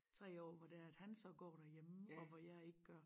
3 år hvor det er at han så går derhjemme og hvor jeg ikke gør